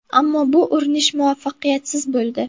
Ammo bu urinish muvaffaqiyatsiz bo‘ldi.